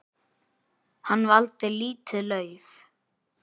Hann valdi lítið lauf.